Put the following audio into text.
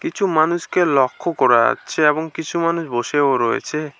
কিছু মানুষকে লক্ষ্য করা যাচ্ছে এবং কিছু মানুষ বসেও রয়েছে।